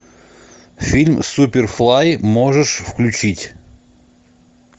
фильм суперфлай можешь включить